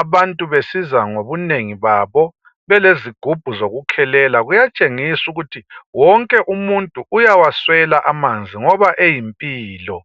abantu besiza ngobunengi babo belezigubhu zokukhelela kuyatshengisa ukuthi wonke umuntu uyawaswela amanzi ngoba eyimpilo.